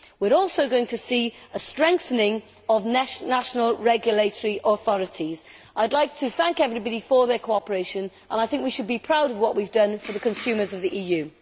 We are also going to see a strengthening of national regulatory authorities. I would like to thank everybody for their cooperation, and I think we should be proud of what we have done for the consumers of the EU.